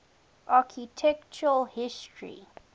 architectural history